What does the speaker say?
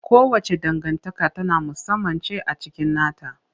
Kowace dangantaka ta musamman ce a cikin nata.